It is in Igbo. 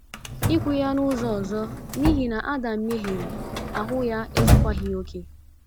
Ikwu ya n’ụzọ ọzọ, n’ihi na Adam mehiere, ahụ ya ezukwaghị okè.